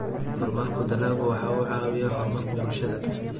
Horumarka dalaggu waxa uu caawiyaa horumarka bulshada.